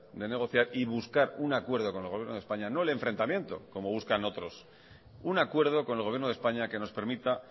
de negociar y buscar un acuerdo con el gobierno de españa no el enfrentamiento como buscan otros un acuerdo con el gobierno de españa que nos permita